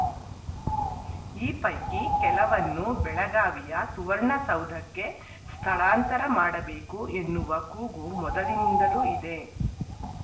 ಈ ಪೈಕಿ ಕೆಲವನ್ನು ಬೆಳಗಾವಿಯ ಸುವರ್ಣಸೌಧಕ್ಕೆ ಸ್ಥಳಾಂತರ ಮಾಡಬೇಕು ಎನ್ನುವ ಕೂಗು ಮೊದಲಿನಿಂದಲೂ ಇದೆ